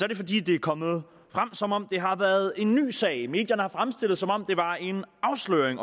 det fordi det er kommet frem som om det har været en ny sag medierne har fremstillet det som om det var en afsløring